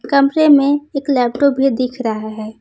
कमरे में एक लैपटॉप भी दिख रहा हैं।